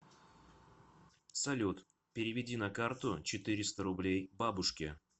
салют переведи на карту четыреста рублей бабушке